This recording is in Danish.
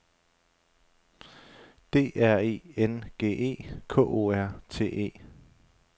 D R E N G E K O R T E